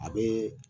A bɛ